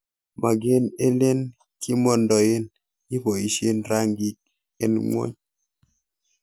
Maken ele kimondoen iboishen rangik en ngwony.